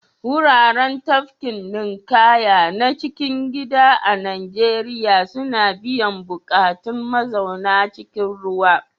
Wuraren tafkin ninƙaya na cikin gida a Najeriya suna biyan buƙatun mazauna cikin ruwa.